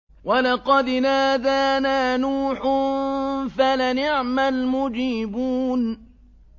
وَلَقَدْ نَادَانَا نُوحٌ فَلَنِعْمَ الْمُجِيبُونَ